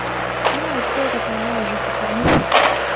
ну а теперь я так понимаю уже официально